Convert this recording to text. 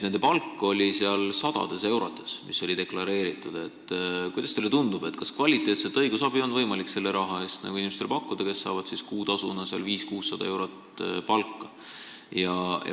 Kuidas teile tundub, kas selle raha eest on võimalik pakkuda kvaliteetset õigusabi inimestele, kes saavad kuutasuna 500–600 eurot palka?